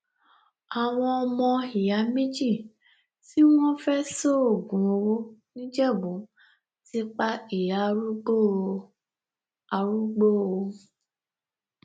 àwọn ọmọ ìyá méjì tí wọn fẹẹ ṣoògùn owó nìjẹbù ti pa ìyá arúgbó o arúgbó o